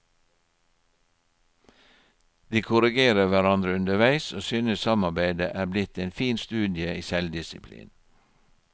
De korrigerer hverandre underveis og synes samarbeidet er blitt en fin studie i selvdisiplin.